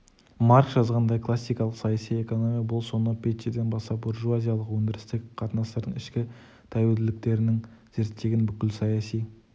маркс жазғандай классикалық саяси экономия бұл сонау петтиден бастап буржуазиялық өндірістік қатынастардың ішкі тәуелділіктерін зерттеген бүкіл саяси